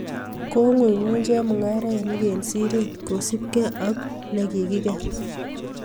Kiing'unyng'uny chemung'arainik eng siret kosupgei ako ne kikiker.